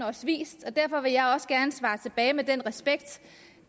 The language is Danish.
også vist og derfor vil jeg også gerne svare tilbage med den respekt